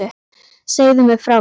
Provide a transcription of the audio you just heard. Segðu mér frá því.